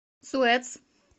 суэц